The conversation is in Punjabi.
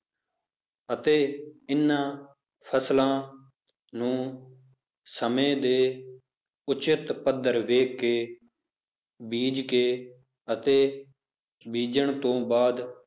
ਅਤੇ ਇਹਨਾਂ ਫਸਲਾਂ ਨੂੰ ਸਮੇਂ ਦੇ ਉੱਚਿਤ ਪੱਧਰ ਵੇਖ ਕੇ ਬੀਜ਼ ਕੇ ਅਤੇ ਬੀਜ਼ਣ ਤੋਂ ਬਾਅਦ